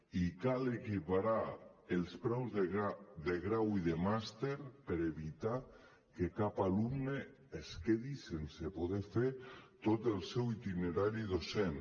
i cal equiparar els preus de grau i de màster per evitar que cap alumne es quedi sense poder fer tot el seu itinerari docent